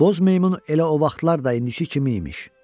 Boz meymun elə o vaxtlar da indiki kimi imiş.